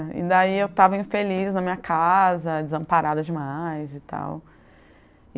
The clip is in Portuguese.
Daí eu estava infeliz na minha casa, desamparada demais e tal.